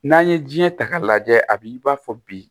N'an ye diɲɛ ta k'a lajɛ a bi i b'a fɔ bi